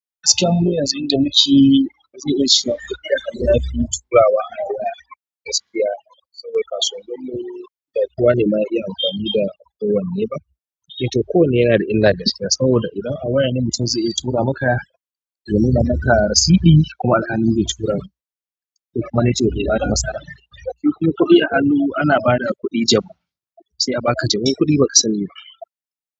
Gaskiya mu yanzu inda mukeyi zai iya sha, amma yafi mutuwa wa awaya gaskiya saboda kaso daban ne. Yadda tuwa ne man iya amfani da ɗawon neba. Mai kyau ko wane yana da illa gaskiya saboda idan awaya ne mutum zai iya tura maka ya nuna maka risidi kuma alhali bai tura kuma network bai bata masa ba. Shi kuma kuɗi a hannu ana ba da kuɗi jabu sai a baka jebun kuɗi baka sani ba.